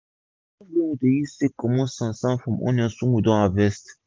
na soft broom we use take comot sand sand from onions wey we just harvest